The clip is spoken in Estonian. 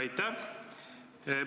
Aitäh!